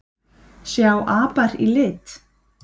Sjá apar í lit?